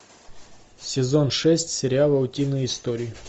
сезон шесть сериала утиные истории